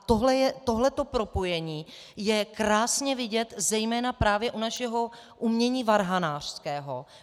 A tohle propojení je krásně vidět zejména právě u našeho umění varhanářského.